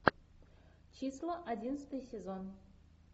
числа одиннадцатый сезон